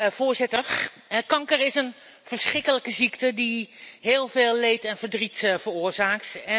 Voorzitter, kanker is een verschrikkelijke ziekte die heel veel leed en verdriet veroorzaakt.